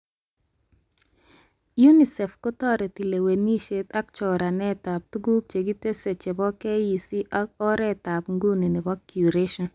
UNICEF kotoreti lewenishet ak choranet ab tuguk chekikitesyi chebo KEC ak oretab nguni nebo Curation